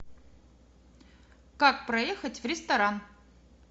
как проехать в ресторан